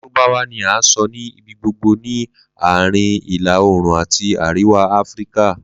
Larubawa ni a sọ ni ibigbogbo ni Aarin Ila-oorun ati Ariwa Afirika.